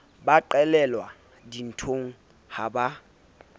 ba qelelwa dinthong ha ba